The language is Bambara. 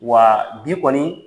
Wa bi kɔni